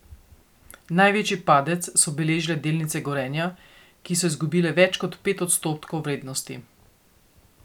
Največji padec so beležile delnice Gorenja, ki so izgubile več kot pet odstotkov vrednosti.